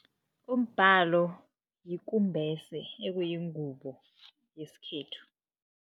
Umbhalo yikumbese okuyingubo yesikhethu.